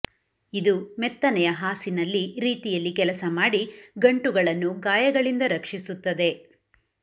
ಇದು ಮೆತ್ತನೆಯ ಹಾಸಿನಲ್ಲಿ ರೀತಿಯಲ್ಲಿ ಕೆಲಸ ಮಾಡಿ ಗಂಟುಗಳನ್ನು ಗಾಯಗಳಿಂದ ರಕ್ಷಿಸುತ್ತದೆ